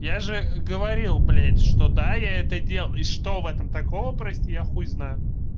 я же говорил блять что да я это делал и что в этом такого прости я хуй знаю